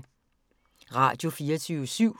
Radio24syv